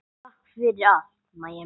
Takk fyrir allt, Mæja mín.